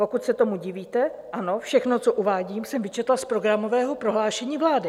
Pokud se tomu divíte, ano, všechno, co uvádím, jsem vyčetla z programového prohlášení vlády.